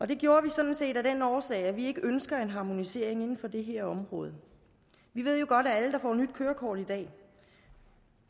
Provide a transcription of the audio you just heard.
det gjorde vi sådan set af den årsag at vi ikke ønsker en harmonisering inden for det her område vi ved jo godt at alle der får nyt kørekort i dag